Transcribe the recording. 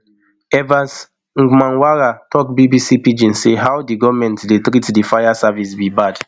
evans ngmanwara tok bbc pidgin say how di goment dey treat di fire service be bad